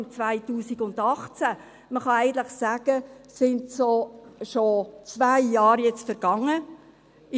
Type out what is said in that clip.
Eigentlich kann man sagen, dass schon zwei Jahre vergangen sind.